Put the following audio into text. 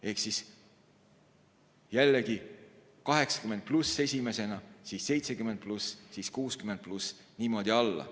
Ehk jällegi 80+ esimesena, siis 70+, siis 60+, niimoodi alla.